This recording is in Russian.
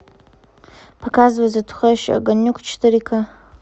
показывай затухающий огонек четыре ка